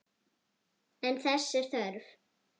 En þess er þörf.